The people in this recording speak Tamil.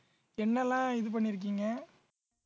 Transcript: என்னெல்லாம் இது பண்ணிருக்கீங்க